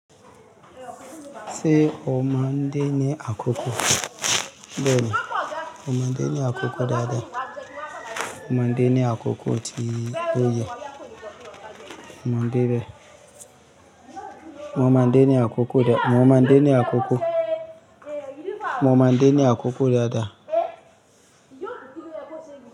Ṣé o ma n de ní akoko? Bẹ́ẹ̀ni, mo ma n de ní akoko dáadáa. Mo ma n de ní akoko tí ó yẹ. Mo ma n de íbẹ̀. Mo mọ̀ ní akoko dá, mo mọ̀ ní akoko, mo mọ̀ ní akoko dáadáa.